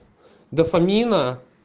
дофамина